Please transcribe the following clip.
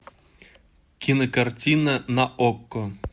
кинокартина на окко